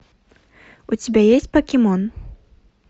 у тебя есть покемон